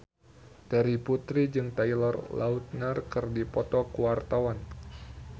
Terry Putri jeung Taylor Lautner keur dipoto ku wartawan